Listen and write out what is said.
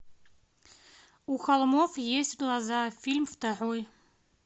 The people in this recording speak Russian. у холмов есть глаза фильм второй